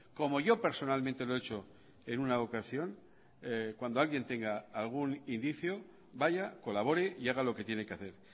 como yo personalmente lo he hecho en una ocasión cuando alguien tenga algún indicio vaya colabore y haga lo que tiene que hacer